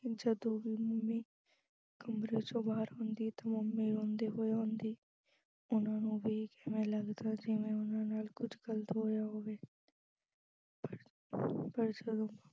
ਕਿ ਜਦੋਂ ਵੀ mummy ਕਮਰੇ ਚੋਂ ਬਾਹਰ ਆਉਂਦੀ ਤਾਂ mummy ਰੋਂਦੀ ਹੋਈ ਆਉਂਦੀ, ਉਹਨਾਂ ਨੂੰ ਵੇਖ ਐਂ ਲੱਗਦਾ ਜਿਵੇਂ ਉਹਨਾਂ ਨਾਲ ਕੁਝ ਗਲਤ ਹੋਇਆ ਹੋਵੇ ਪਰ ਜਦੋਂ